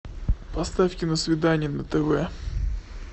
поставь киносвидание на тв